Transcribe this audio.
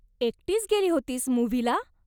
एकटीच गेली होतीस मुव्हीला?